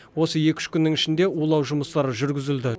осы екі үш күннің ішінде улау жұмыстары жүргізілді